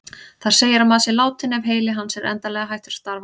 Þar segir að maður sé látinn ef heili hans er endanlega hættur að starfa.